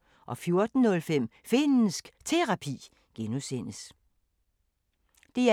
DR1